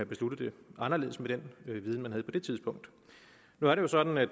besluttet det anderledes med den viden man havde på det tidspunkt nu er det jo sådan at